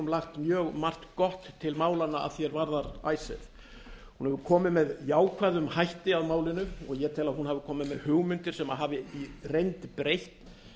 lagt mjög margt gott til málanna að því er varðar icesave hún hefur komið með jákvæðum hætti að málinu og hún hefur komið með hugmyndir sem hafi í reynd breytt